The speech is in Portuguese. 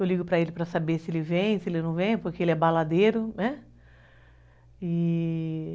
Eu ligo para ele para saber se ele vem, se ele não vem, porque ele é baladeiro, né? e